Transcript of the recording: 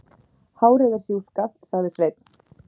Hárið er sjúskað, sagði Sveinn.